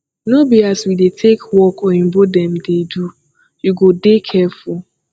no be as we dey take work oyimbo dem dey do you go dey careful